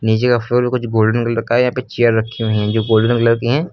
नीचे का फ्लोर मे कुछ गोल्डेन कलर का यहां पर चेयर रखी हुई है जो गोल्डेन कलर की है।